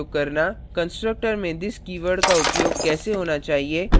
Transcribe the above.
constructor में this keyword का उपयोग कैसा होना चाहिए